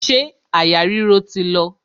Ṣé àyà ríro ti lọ?